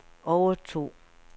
overtog